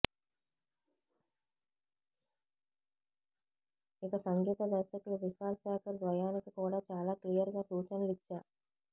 ఇక సంగీత దర్శకులు విశాల్ శేఖర్ ద్వయానికి కూడా చాలా క్లియర్ గా సూచనలు ఇచ్చా